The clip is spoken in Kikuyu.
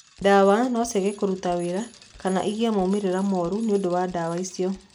Ndawa no ciage kũruta wĩra kana ũgĩe moimĩriro moru nĩũndũ wa ndawa icio.